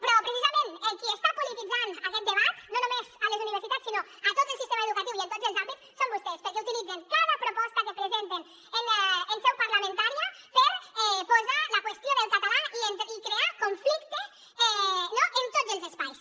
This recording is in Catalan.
però precisament els qui estan polititzant aquest debat no només a les universitats sinó a tot el sistema educatiu i en tots els àmbits són vostès perquè utilitzen cada proposta que presenten en seu parlamentària per posar la qüestió del català i crear conflicte no en tots els espais